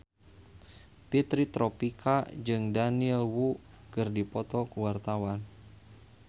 Fitri Tropika jeung Daniel Wu keur dipoto ku wartawan